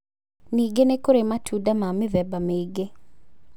Ningĩ nĩ kũrĩ matunda ma mĩthemba mĩingĩ